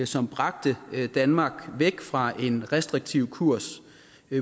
som bragte danmark væk fra en restriktiv kurs